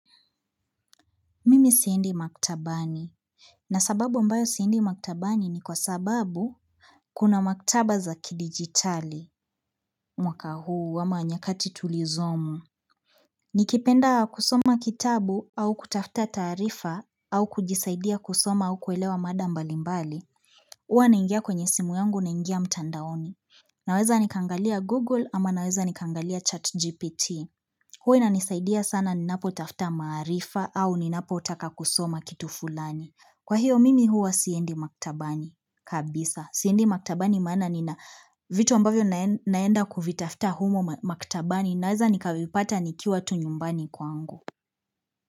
Mimi siendi maktabani. Na sababu ambayo siendi maktabani ni kwa sababu Kuna maktaba za kidigitali mwaka huu ama nyakati tulizomu nikipenda kusoma kitabu au kutafta taarifa au kujisaidia kusoma au kuelewa mada mbalimabli huwa naingia kwenye simu yangu naingia mtandaoni Naweza nikaangalia google ama naweza nikaangalia chat gpt Huwa inanisaidia sana ninapo tafta maarifa au ninapo uaka kusoma kitu fulani. Kwa hiyo mimi huwa siendi maktabani, kabisa. Siendi maktabani maana nina vitu ambavyo naenda kuvitafuta humo maktabani. Naweza nikavipata nikiwa tu nyumbani kwangu.